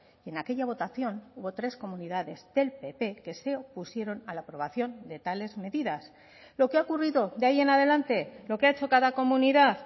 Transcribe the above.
y en aquella votación hubo tres comunidades del pp que se opusieron a la aprobación de tales medidas lo que ha ocurrido de ahí en adelante lo que ha hecho cada comunidad